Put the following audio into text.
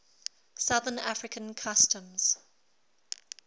southern african customs